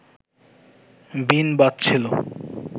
বীণ বাজছিল